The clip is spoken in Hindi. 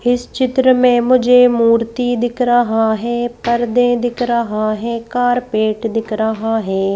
हिस चित्र में मुझे मूर्ति दिख रहा है परदे दिख रहा है कारपेट दिख रहा है।